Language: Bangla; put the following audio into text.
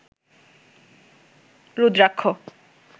রুদ্রাক্ষ